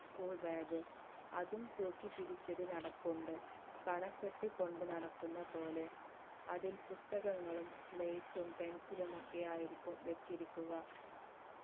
school bag അതും തൂക്കിപിടിച് ഒരു നടപ്പുണ്ട് പണപ്പെട്ടി കൊണ്ട് നടക്കുന്ന പോലെ അതിൽ പുസ്തകങ്ങളും slate ഉം pencil ലും ഒക്കെ ആയിരിക്കും വച്ചിരിക്കുക